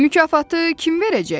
Mükafatı kim verəcək?